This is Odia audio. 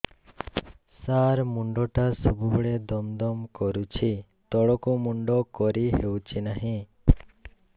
ସାର ମୁଣ୍ଡ ଟା ସବୁ ବେଳେ ଦମ ଦମ କରୁଛି ତଳକୁ ମୁଣ୍ଡ କରି ହେଉଛି ନାହିଁ